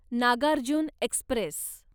Nagarjuna Express